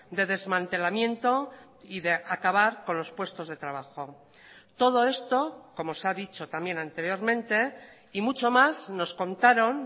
de desmantelamiento y de acabar con los puestos de trabajo todo esto como se ha dicho también anteriormente y mucho más nos contaron